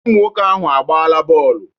Ụmụnwoke ahụ agbaala bọọlụ